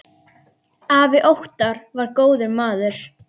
Afi Óttar var góður maður.